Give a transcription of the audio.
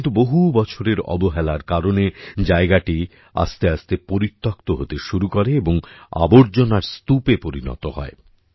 কিন্তু বহু বছরের অবহেলার কারণে জায়গাটি আসতেআসতে পরিত্যক্ত হতে শুরু করে এবং আবর্জনার স্তুপে পরিনত হয়